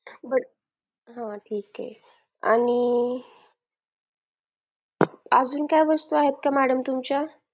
but हा ठीक आहे आणि अजून काय वस्तू आहेत का madam तुमच्या